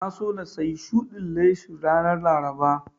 Na so na sayi shudin leshin ranar Laraba